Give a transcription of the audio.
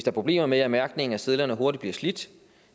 er problemer med at mærkningen af sedlerne hurtigt bliver slidt